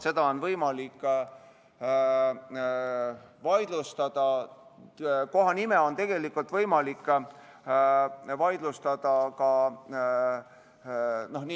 Seda on võimalik vaidlustada, kohanime on võimalik ka vaidlustada.